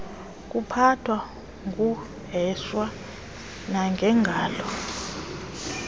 kuphathwa kuheshwa nangengalo